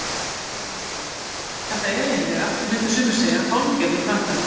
Kristján Már Unnarsson: Þetta er eiginlega, myndu sumir segja hálfgerður brandari?